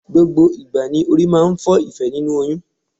Gbogbo ìgbà ni orí máa ń fọ Ìfẹ́ nínú oyún.